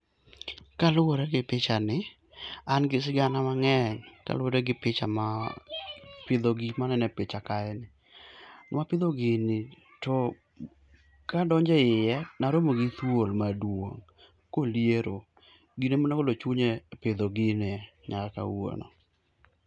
kaluwore gi pichani an gi sigana mang'eny kaluwore gi gik ma aneno e picha kae, nwa pidho gini to kadonje iye naromo gi thuol maduong' kolieero gino emane ogolo chunya e pidho gini nyaka kawuono